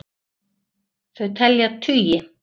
Þau telja tugi.